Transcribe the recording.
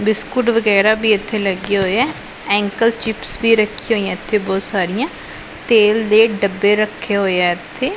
Biscuit ਵਗੈਰਾ ਵੀ ਇੱਥੇ ਲੱਗੇ ਹੋਏ ਹੈ ਅੰਕਲ ਚਿਪਸ ਵੀ ਰੱਖੀ ਹੋਈ ਹ ਇਥੇ ਬਹੁਤ ਸਾਰੀਆਂ ਤੇਲ ਦੇ ਡੱਬੇ ਰੱਖੇ ਹੋਏ ਹ ਇਥੇ।